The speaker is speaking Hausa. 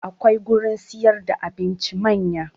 Akwai gurin siyar da abincin manya